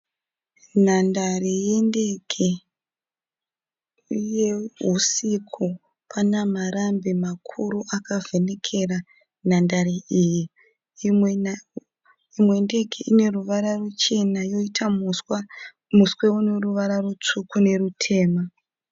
Nhandare yendege, uye husiku. Pane marambi makuru akavhenekera nhandare iyi, imwe ndege ineruvara ruchena yoita muswe uneruvara rutsvuku nerutema